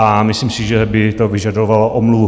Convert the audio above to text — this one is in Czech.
A myslím si, že by to vyžadovalo omluvu.